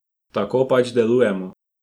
Tako pač delujemo.